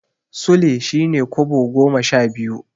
Sule shine Kobo goma sha biyu.